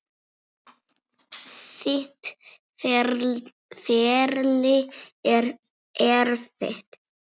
Þitt ferli er erfitt.